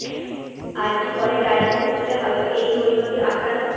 আর G করে dialysis হলে হয়তো এই পরিণতি আটকানো